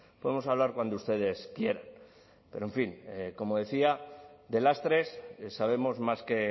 podemos hablar cuando ustedes quieran pero en fin como decía de lastres sabemos más que